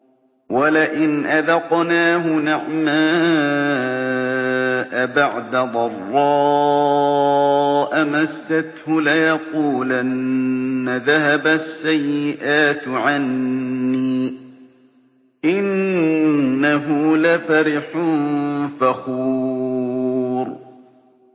وَلَئِنْ أَذَقْنَاهُ نَعْمَاءَ بَعْدَ ضَرَّاءَ مَسَّتْهُ لَيَقُولَنَّ ذَهَبَ السَّيِّئَاتُ عَنِّي ۚ إِنَّهُ لَفَرِحٌ فَخُورٌ